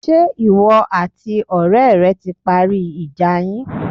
Ṣé ìwọ àti ọ̀rẹ́ rẹ ti parí ìjà yín?